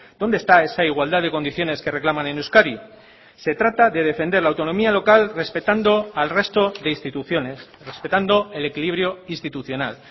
dónde está esa igualdad de condiciones que reclaman en euskadi se trata de defender la autonomía local respetando al resto de instituciones respetando el equilibrio institucional